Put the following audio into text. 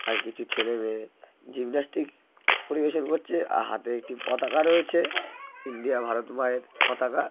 আর কিছু ছেলেমেয়ে-এ জিমন্যাস্টিক পরিবেশন করছে আ--হাতে একটি পতাকা রয়েছে ইন্ডিয়া ভারত মায়ের পতাকা--